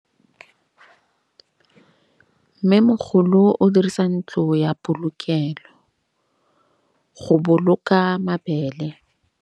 Mmêmogolô o dirisa ntlo ya polokêlô, go boloka mabele.